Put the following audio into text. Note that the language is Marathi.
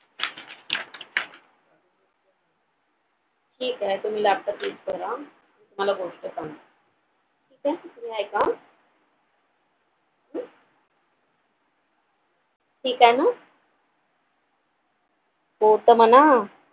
ठीके तुम्ही laptop use करा मला गोष्ट सांगा ठीके ऐका ठीक आहे ना हो तर म्हणा